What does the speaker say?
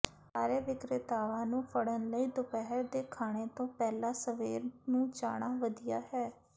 ਸਾਰੇ ਵਿਕਰੇਤਾਵਾਂ ਨੂੰ ਫੜਨ ਲਈ ਦੁਪਹਿਰ ਦੇ ਖਾਣੇ ਤੋਂ ਪਹਿਲਾਂ ਸਵੇਰ ਨੂੰ ਜਾਣਾ ਵਧੀਆ ਹੈ